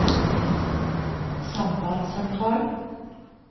sambandssentral